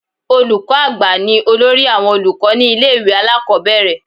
Olùkọ́ àgbà ni olórí àwọn olùkọ́ ní ilé ìwé alákọ̀ọ́bẹ̀rẹ̀